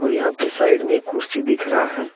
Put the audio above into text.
यहां पे साइड में एक कुर्सी दिख रहा है।